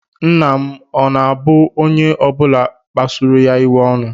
Nna m ọ̀ na-abu onye ọ bụla kpasuru ya iwe ọnụ?